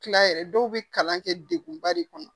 Kila yɛrɛ dɔw be kalan kɛ degunba de kɔnɔ